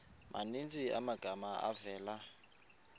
maninzi amagama avela